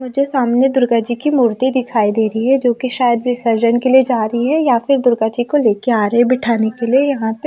मुझे सामने दुर्गा जी की मूर्ति दिखाई दे रही है जो कि शायद विसर्जन के लिए जा रही है या फिर दुर्गा जी को ले के आ रहे बिठाने के लिए यहां पे--